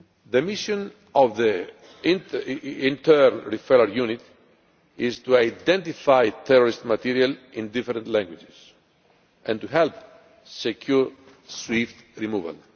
The mission of the Internet Referral Unit is to identify terrorist material in different languages and to help secure swift removal.